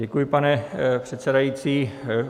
Děkuji, pane předsedající.